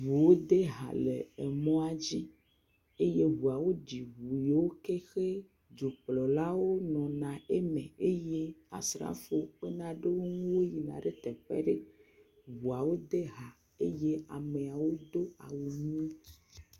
ŋuwo de ha le emɔa dzi eye ŋuawo ɖi ŋu yio ke xe dzokplɔlawo nɔna eme eye asrafo kpena ɖe wo ŋu woyina ɖe teƒe ɖe. Ŋuawo de ha, eye emeawo do awu ʋi…